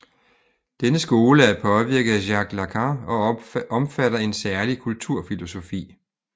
Denne skole er påvirket af Jacques Lacan og omfatter en særlig kulturfilosofi